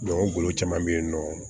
o golo caman be yen nɔ